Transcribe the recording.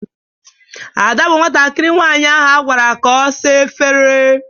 Ada bụ nwatakiri nwaanyị ahụ agwara ka ọ sa efere.